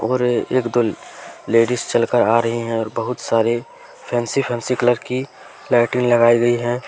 और एक दो लेडिस चलकर आ रही है और बहुत सारे फैंसी फैंसी कलर की लाइटिंग लगाई गई है।